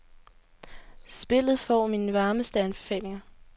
Spillet får mine varmeste anbefalinger.